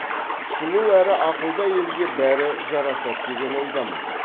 сұлу әрі ақылды әйелге бәрі жарасады деген ойдамын